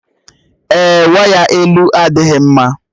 Èé, waya elu adịghị mma